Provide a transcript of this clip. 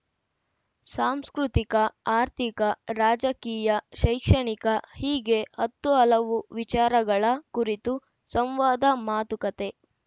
ಸಾಂಸ್ಕೃತಿಕ ಆರ್ಥಿಕ ರಾಜಕೀಯ ಶೈಕ್ಷಣಿಕ ಹೀಗೆ ಹತ್ತು ಹಲವು ವಿಚಾರಗಳ ಕುರಿತು ಸಂವಾದ ಮಾತುಕತೆ